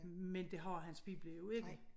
Men det har hans pibla jo ikke